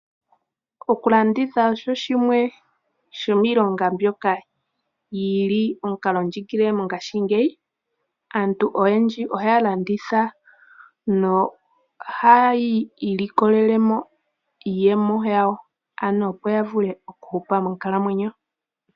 Okulanditha osho shimwe shomiilonga mbyoka yi li omukalo ndjigilile mongaashingeyi. Aantu oyendji ohaya landitha nohayi ilikolele mo iiyemo yawo, opo ya vule okuhupa monkalamwenyo.